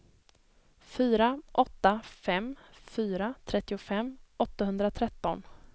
fyra åtta fem fyra trettiofem åttahundratretton